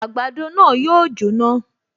Àgbàdo náà yóò jóná